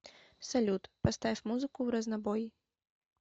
салют поставь музыку вразнобой